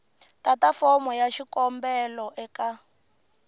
tata fomo ya xikombelo eka